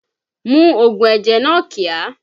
Mu ògùn ẹ̀jẹ̀ náà kíá!